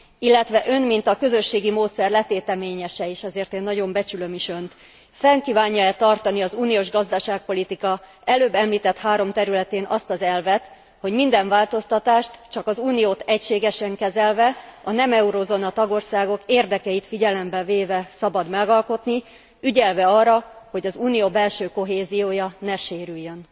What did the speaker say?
Illetve Ön, mint a közösségi módszer letéteményese és azért én nagyon becsülöm is Önt fenn kívánja e tartani az uniós gazdaságpolitika előbb említett három területén azt az elvet, hogy minden változtatást csak az Uniót egységesen kezelve, a nem eurózóna tagországok érdekeit figyelembe véve szabad megalkotni, ügyelve arra, hogy az Unió belső kohéziója ne sérüljön.